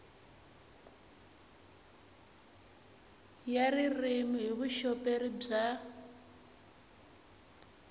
ya ririmi hi vuxoperi bya